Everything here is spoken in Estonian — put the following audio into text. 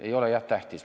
Ei ole jah tähtis.